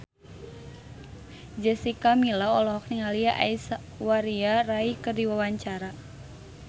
Jessica Milla olohok ningali Aishwarya Rai keur diwawancara